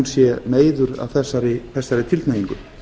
sé meiður af þessari tilhneigingu